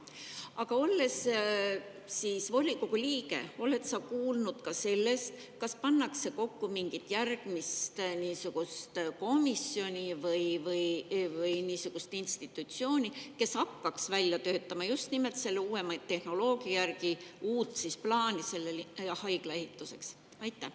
Aga kas sa oled volikogu liikmena kuulnud sellest, et pannakse kokku mingit järgmist komisjoni või niisugust institutsiooni, kes hakkaks just nimelt uuema tehnoloogia järgi välja töötama uut plaani selle haigla ehituseks?